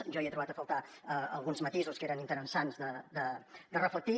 jo hi he trobat a faltar alguns matisos que eren interessants de reflectir